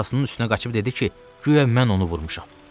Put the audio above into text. Atasının üstünə qaçıb dedi ki, guya mən onu vurmuşam.